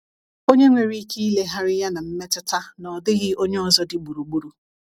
Onye nwere ike ilegharị ya na mmetụta na ọ dịghị onye ọzọ dị gburugburu.